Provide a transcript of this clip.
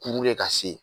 Kuru de ka se